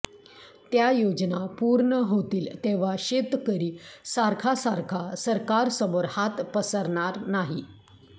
त्या योजना पूर्ण होतील तेव्हा शेतकरी सारखा सारखा सरकारसमोर हात पसरणार नाही